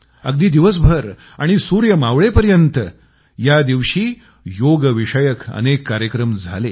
अगदी दिवसभर आणि सूर्य मावळेपर्यंत या दिवशी योगविषयक अनेक कार्यक्रम झाले